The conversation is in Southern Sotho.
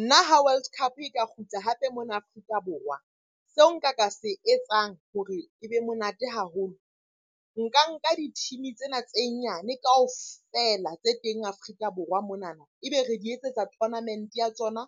Nna ha World Cup e ka kgutla hape mona Afrika Borwa, seo nka ka se etsang hore e be monate haholo. Nka nka di-team-e tsena tse nyane kaofela tse teng Afrika Borwa monana. E be re di etsetsa tournament-e ya tsona